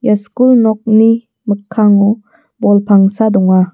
skul nokni mikkango bol pangsa donga.